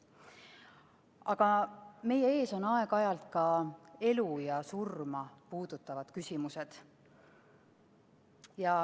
Aga meie ees on aeg-ajalt ka elu ja surma puudutavad küsimused.